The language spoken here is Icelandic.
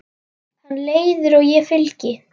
Hann leiðir og ég fylgi.